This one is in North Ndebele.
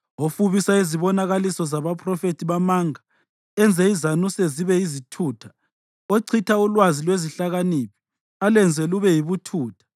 ofubisa izibonakaliso zabaphrofethi bamanga, enze izanuse zibe yizithutha, ochitha ulwazi lwezihlakaniphi alwenze lube yibuthutha,